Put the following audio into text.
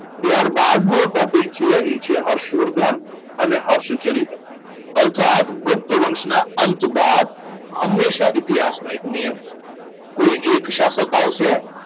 ત્યારબાદ નો topic છે એ છે હર્ષવર્ધન અને હર્ષચરિત અર્થાત ગુપ્ત વંશના અંશવાદ હંમેશા ઇતિહાસના એક નિયમ છે કોઈ એક શાસક આવશે